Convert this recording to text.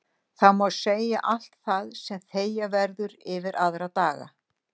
Þá má segja allt það sem þegja verður yfir aðra daga.